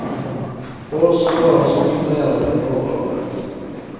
For oss var han så mye mer enn en overordnet.